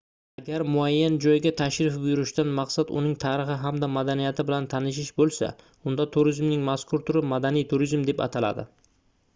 agar muayyan joyga tashrif buyurishdan maqsad uning tarixi hamda madaniyati bilan tanishish boʻlsa unda turizmning mazkur turi madaniy turizm deb ataladi